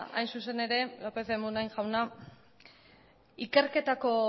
hain zuzen ere lópez de munain jauna ikerketako